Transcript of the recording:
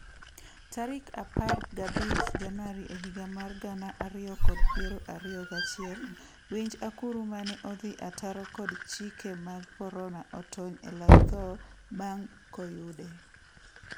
tarik apar gabich januari ehiga mar gana ariyo kod piero ariyo gachiel, winj akuru mane odhi ataro kod chike mag korona otony elak thoo bang' koyude.